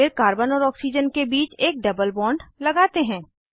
फिर कार्बन और ऑक्सीजन के बीच एक डबल बॉन्ड लगाते हैं